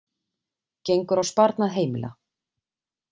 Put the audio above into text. Gengur á sparnað heimila